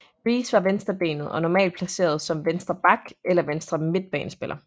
Riise var venstrebenet og normalt placeret som venstre back eller venstre midtbanespiller